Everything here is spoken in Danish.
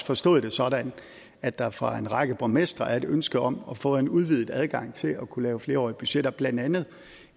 forstået det sådan at der fra en række borgmestres side er et ønske om at få en udvidet adgang til at kunne lave flereårige budgetter blandt andet